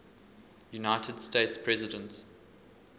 united states president